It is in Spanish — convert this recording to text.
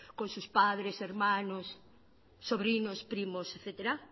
con sus padres hermanos sobrinos primos etcétera